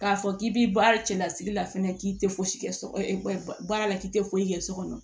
K'a fɔ k'i bi baara cɛla sigi la fɛnɛ k'i te fosi kɛ so baara la k'i tɛ fo kɛ so kɔnɔ